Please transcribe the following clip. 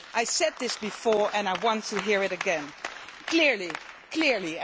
I said this before and I want to hear it again clearly.